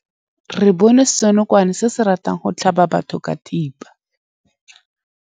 Re bone senokwane se se ratang go tlhaba batho ka thipa.